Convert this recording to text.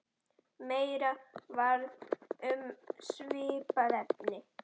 Meira um svipað efni